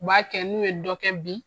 U b'a kɛ, n'u ye dɔ kɛ bi